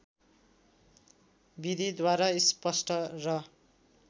विधिद्वारा स्पष्ट र